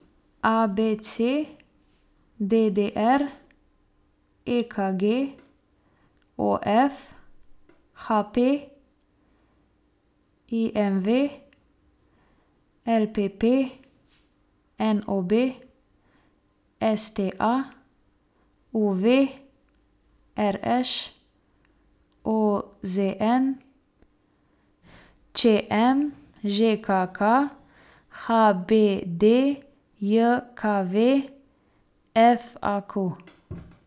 A B C; D D R; E K G; O F; H P; I M V; L P P; N O B; S T A; U V; R Š; O Z N; Č M; Ž K K; H B D J K V; F A Q.